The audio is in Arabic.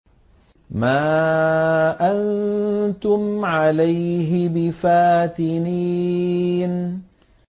مَا أَنتُمْ عَلَيْهِ بِفَاتِنِينَ